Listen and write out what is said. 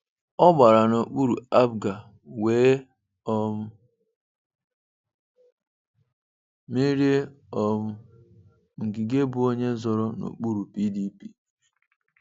Ọ gbara n'okpuru APGA wee um merie um Ngige bụ onye zọọrọ n'okpuru PDP.